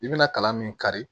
I bɛna kalan min kari